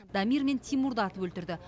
дамир мен тимурды атып өлтірді